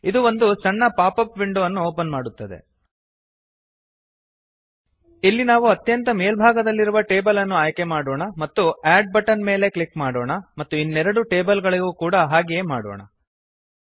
ಇದು ಒಂದು ಸಣ್ಣ ಪಾಪಪ್ ವಿಂಡೋ ಅನ್ನು ಓಪನ್ ಮಾಡುತ್ತದೆ ಇಲ್ಲಿ ನಾವು ಅತ್ಯಂತ ಮೇಲ್ಭಾಗದಲ್ಲಿರುವ ಟೇಬಲ್ ಅನ್ನು ಆಯ್ಕೆ ಮಾಡೋಣ ಮತ್ತು ಅಡ್ ಬಟನ್ ಮೇಲೆ ಕ್ಲಿಕ್ ಮಾಡೋಣ ಮತ್ತು ಇನ್ನೆರಡು ಟೇಬಲ್ ಗಳಿಗೂ ಕೂಡ ಹಾಗೆಯೇ ಮಾಡೋಣ